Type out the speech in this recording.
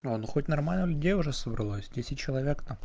а ну хоть нормально людей уже собралось десять человек то